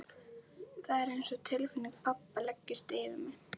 Það er einsog tilfinning pabba leggist yfir mig.